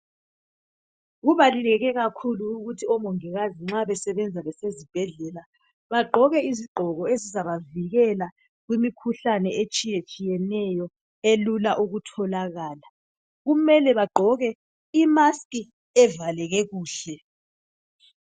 Kubaluleke kakhulu ukuthi omongikazi nxa besebenza besezibhedlela bagqoke izigqoko ezizabavikela kumikhuhlane etshiyatshiyeneyo elula ukutholakala, kumele bagqoke imask evaleke kuhle.